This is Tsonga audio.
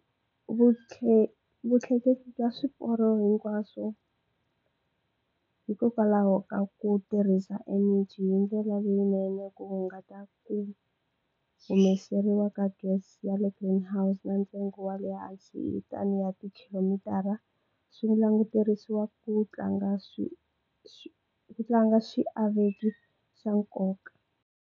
Vutleketli bya swiporo hinkwaswo hikokwalaho ka ku tirhisa eneji hi ndlela leyinene ku hunguta ku humeseriwa ka gas yale greenhouse na ntsengo wa le hansi ten ya tikhilomitara swi languteriwa ku tlanga swi tlanga xiave xa nkoka.